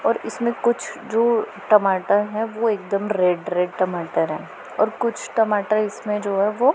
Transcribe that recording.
और इसमें कुछ जो टमाटर हैं वो एकदम रेड रेड टमाटर हैं और कुछ टमाटर इसमें जो है वो--